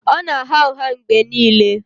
Ọ na-agha ụgha mgbe niile